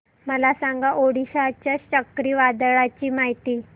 मला सांगा ओडिशा च्या चक्रीवादळाची माहिती